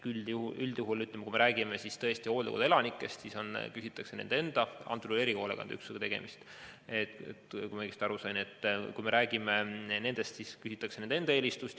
Üldjuhul, kui me räägime hooldekodu elanikest, siis küsitakse nende enda – antud juhul on tegemist küll erihoolekandeüksusega, kui ma õigesti aru sain – eelistust.